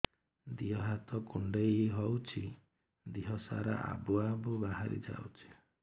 ଦିହ ହାତ କୁଣ୍ଡେଇ ହଉଛି ଦିହ ସାରା ଆବୁ ଆବୁ ବାହାରି ଯାଉଛି